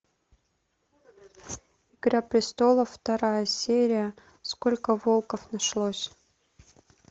игра престолов вторая серия сколько волков нашлось